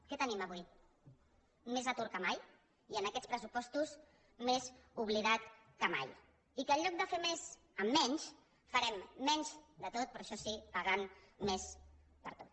què tenim avui més atur que mai i en aquests pressupostos més oblidat que mai i que en lloc de fer més amb menys farem menys de tot però això sí pagant més per tot